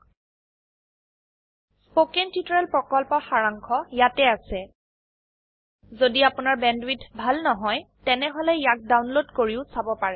httpspoken tutorialorgWhat is a Spoken tutorial spoken tutorial প্ৰকল্পৰ সাৰাংশ ইয়াত আছে যদি আপোনাৰ বেণ্ডৱিডথ ভাল নহয় তেনেহলে ইয়াক ডাউনলোড কৰি চাব পাৰে